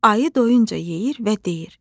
Ayı doyunca yeyir və deyir: